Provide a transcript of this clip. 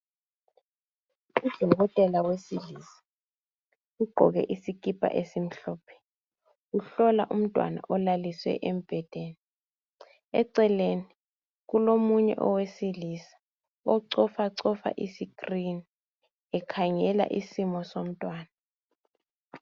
Udokotela wesilisa ugqoke isikipa esimhlophe, uhlola umntwana olaliswe embhedeni. Eceleni, kulomunye owesilisa ocofacofa isikrini ekhangela isimo somntwana.